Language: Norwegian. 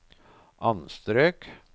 anstrøk